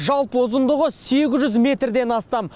жалпы ұзындығы сегіз жүз метрден астам